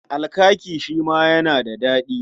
Alkaki shi ma yana da daɗi.